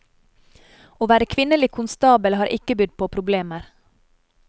Å være kvinnelig konstabel har ikke bydd på problemer.